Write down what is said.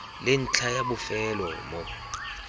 le ntlha ya bofelo mo